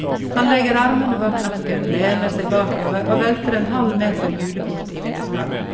Han legger armene bak nakken, lener seg bakover og velter en halv meter julekort i vinduskarmen.